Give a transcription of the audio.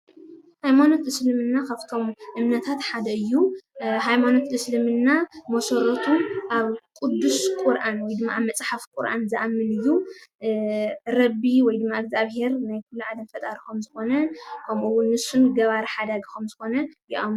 ሃይማኖት እስልምና ካፍቶም እምነታት ሓደ እዩ። ሃይማኖት እስልምና መሰረቱ ኣብ ቁዱስ ቁረኣን ወይ ድማ ኣብ መፅሓፍ ቁርኣን ዝኣምን እዩ። ረ ቢ ወይ ድማ እግዚኣብሄር ናይ ኩሉ ዓለም ፈጣሪ ከም ዝኾነ ከምኡ እዉን ንሱ ገባሪ ሓዳጊ ኸም ዝኾነ ይእመኑ።